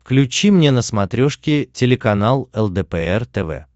включи мне на смотрешке телеканал лдпр тв